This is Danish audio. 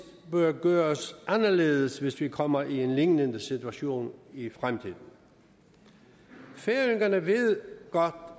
bør gøres anderledes hvis vi kommer i en lignende situation i fremtiden færøerne ved godt